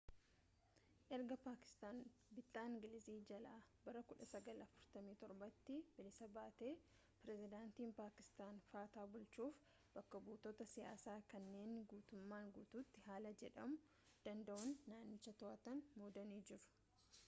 erga paakistaan bittaa ingilizii jalaa bara 1947’tti bilisa baatee pireezidantiin paakistaan fata bulchuuf bakka-buutota siyaasaa” kanneen guutummaan guutuutti haala jedhamuu danda’uun naannicha to’atan muudanii jiru